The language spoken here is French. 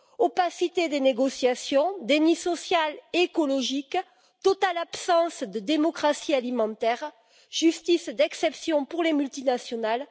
Opacité des négociations, déni social et écologique, totale absence de démocratie alimentaire, justice d'exception pour les multinationales...